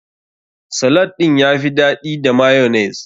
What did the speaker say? Salad ɗin ya fi daɗi da mayonnaise.